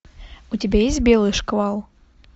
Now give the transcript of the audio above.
у тебя есть белый шквал